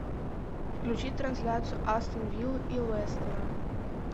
включи трансляцию астон виллы и лестера